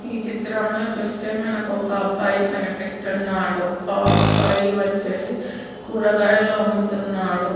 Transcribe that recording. ఈ చిత్రంలో చూస్తే మనకు ఒక అబ్బాయి కనిపిస్తున్నాడు ఆ అబ్బాయి వచ్చేసి కూరగాయలు అమ్ముతున్నాడు.